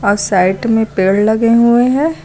और साइड में पेड़ लगे हुए हैं।